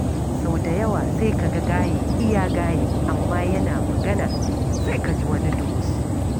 Sau da yawa sai ka ga gaye iya gaye, amma yana magana, sai ka ji wani dumus.